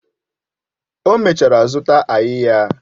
O mechara zụta áyiyah